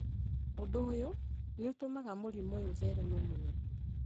Ũndũ ũyũ nĩ ũtũmaga mũrimũ ũyũ ũthereme mũno,